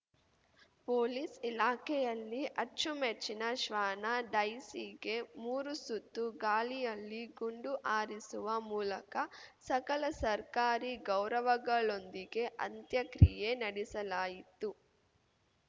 police ಇಲಾಖೆಯಲ್ಲಿ ಅಚ್ಚುಮೆಚ್ಚಿನ ಶ್ವಾನ ಡೈಸಿಗೆ ಮೂರು ಸುತ್ತು ಗಾಳಿಯಲ್ಲಿ ಗುಂಡು ಹಾರಿಸುವ ಮೂಲಕ ಸಕಲ ಸರ್ಕಾರಿ ಗೌರವಗಳೊಂದಿಗೆ ಅಂತ್ಯಕ್ರಿಯೆ ನಡೆಸಲಾಯಿತು